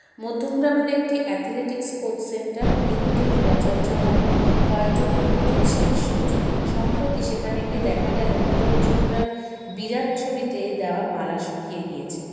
মধ্যমগ্রামের একটি athletics coach center নিয়মিত ক্রীড়া চর্চা হয় কয়েকজন অতুৎসাহীর সৌজন্যে সম্প্রতি সেখানে গিয়ে দেখা গেল নিরজ চোপড়ার বিরাট ছবিতে দেওয়া মালা শুকিয়ে গিয়েছে